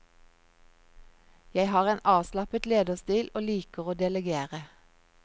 Jeg har en avslappet lederstil og liker å delegere.